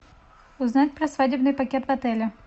узнать про свадебный пакет в отеле